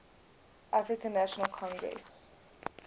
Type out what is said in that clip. african national congress